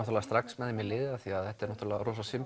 strax með þeim í liði af því þetta er